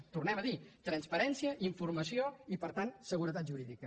ho tor·nem a dir transparència informació i per tant segu·retat jurídica